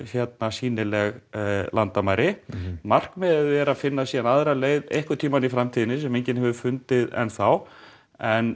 sýnileg landamæri markmiðið er að finna síðan aðra leið einhvern tímann í framtíðinni sem enginn hefur fundið enn þá en